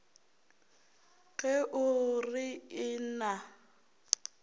ge o re ee na